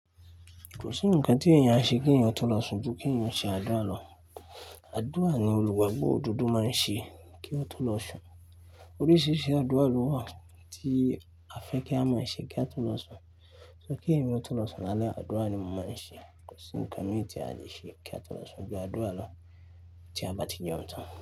Kò sí ǹnkan tí èèyàn ṣe kí èèyàn tó lọ sùn ju kí èèyàn ṣe àdúrà lọ. Àdúrà ni olùgbagbo òdodo máa ń ṣe kí wón tó lọ sùn. Oríṣiiríṣii àdúrà ló wà tí a fẹ́ kí a mọ̀ ọ́n ṣe kí a tó lọ sùn. Ṣé kí èèyàn tó lọ sùn lálẹ́, àdúrà ni mo máa ń ṣe. Kò sí ǹkan mìí tí a lè ṣe kí a tó lọ sùn ju àdúrà lọ tí a bá ti jẹun tán.